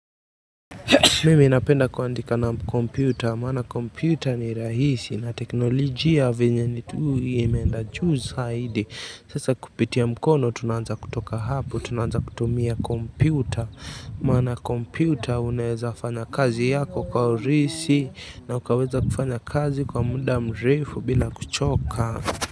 Mimi napenda kuandika na komputa, maana komputa ni rahisi na teknolojia venye imeenda juu zaidi, sasa kupitia mkono, tunaanza kutoka hapo, tunaanza kutumia komputa maana komputa, unaweza fanya kazi yako kwa uraisi na ukaweza kufanya kazi kwa muda mrefu bila kuchoka.